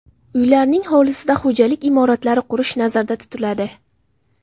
Uylarning hovlisida xo‘jalik imoratlari qurish nazarda tutiladi.